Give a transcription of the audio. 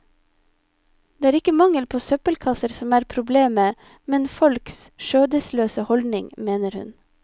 Det er ikke mangel på søppelkasser som er problemet, men folks skjødesløse holdning, mener hun.